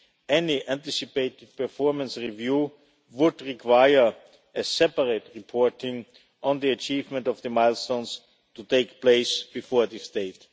Any anticipated performance review would require separate reporting on the achievement of the milestones to take place before that date.